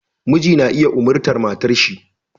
Miji na iya umartar matarshi